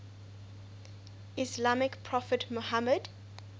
islamic prophet muhammad